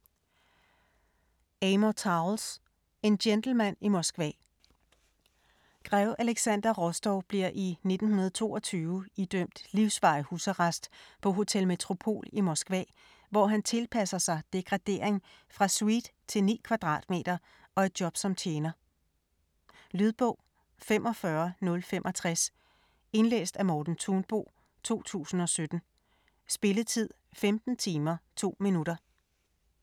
Towles, Amor: En gentleman i Moskva Grev Alexander Rostov bliver i 1922 idømt livsvarig husarrest på Hotel Metropol i Moskva, hvor han tilpasser sig degradering fra suite til 9 kvadratmeter og et job som tjener. Lydbog 45065 Indlæst af Morten Thunbo, 2017. Spilletid: 15 timer, 2 minutter.